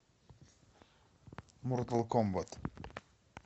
мортал комбат